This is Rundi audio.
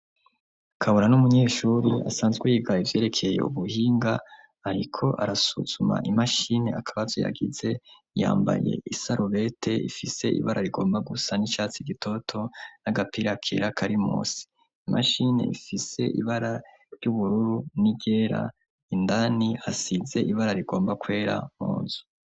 Kabona ni umunyeshuri asanzwe yiga ivyerekeye ubuhinga, ariko arasuzuma imashini akabazo yagize, yambaye isarubete ifise ibara rigomba gusa n'icatsi gitoto n'agapira kera kari munsi. Imashini ifise ibara ry'ubururu n'iryera, indani hasize ibara rigomba kwera munzu.